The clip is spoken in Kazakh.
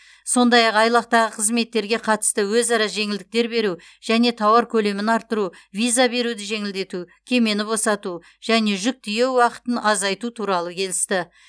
сондай ақ айлақтағы қызметтерге қатысты өзара жеңілдіктер беру және тауар көлемін арттыру виза беруді жеңілдету кемені босату және жүк тиеу уақытын азайту туралы келісті